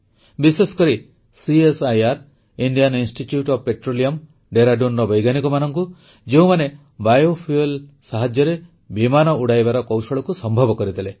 ବିଶେଷକରି CSIR Indian institute of petroleum Dehradunର ବୈଜ୍ଞାନିକମାନଙ୍କୁ ଯେଉଁମାନେ ବାୟୋଫୁଏଲ୍ ସାହାଯ୍ୟରେ ବିମାନ ଉଡ଼ାଇବାର କୌଶଳକୁ ସମ୍ଭବ କରିଦେଲେ